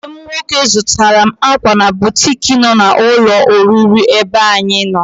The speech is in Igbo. Enyi m nwoke zụtara m ákwà na butik nọ na ụlọ oriri ebe anyị nọ.